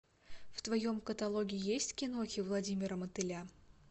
в твоем каталоге есть кинохи владимира мотыля